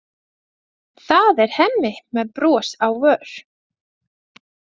Það er Hemmi með bros á vör.